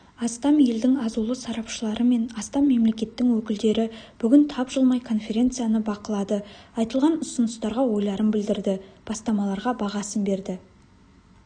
астам елдің азулы сарапшылары мен астам мемлекеттің өкілдері бүгін тапжылмай конференцияны бақылады айтылған ұсыныстарға ойларын білдірді бастамаларға бағасын берді